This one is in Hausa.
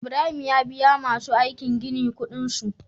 Ibrahim ya biya masu aikin gini Ƙudin su